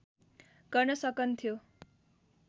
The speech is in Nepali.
गर्न सकन्थ्यो